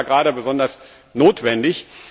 Das ist aber gerade besonders notwendig.